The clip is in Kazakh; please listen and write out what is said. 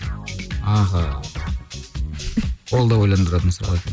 аха ол да ойналдыратын сұрақ екен